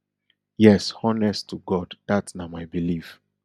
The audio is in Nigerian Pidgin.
yes honest to god dat na my belief